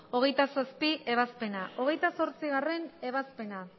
hogeita zazpigarrena ebazpena hogeita zortzigarrena ebazpena